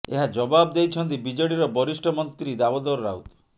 ଏହା ଜବାବ ଦେଇଛନ୍ତି ବିଜେଡିର ବରିଷ୍ଠ ମନ୍ତ୍ରୀ ଦାମୋଦର ରାଉତ